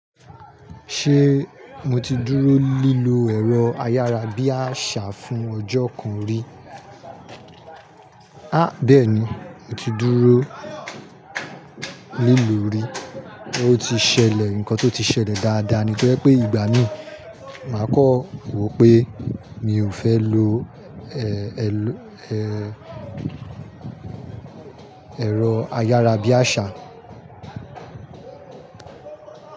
Ṣé mo ti dúró lílo ẹ̀rọ ayárabíàṣá fún ọjọ́ kan rí? A bẹ́ẹ̀ni, mo ti dúró lílo rí. Ó ti ṣẹlẹ̀ nǹkan tó ti ṣẹlẹ̀ dáadáa ni to jé pé ìgbà mí máa kan wò pé mi ò fẹ́ lo, ẹ, ẹlẹ, ẹ, ẹ̀rọ ayárabíàṣá.